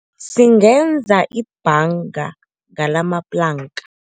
Singenza ibhanga ngalamaplanka.